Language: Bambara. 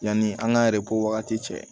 Yanni an k'an wagati cɛ